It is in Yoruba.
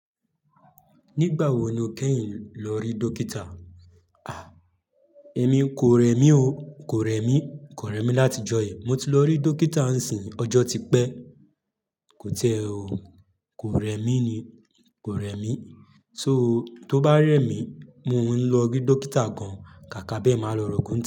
Nígbà wo ni o kẹ́yin lọ rí dókítà? A! Èmi kò rẹ mi o. Kò rẹ mi, kò rẹ mi láti ìjọ yẹn. Mo ti lọ rí dókítà, n sì ọjọ́ ti pẹ́. Kò tiẹ o. Kò rẹ mi ni, kò rẹ mi. So tó bá rẹ mi, mo ń lọ rí dókítà gan, kàkà bẹ́ẹ̀ máa lọ rògún.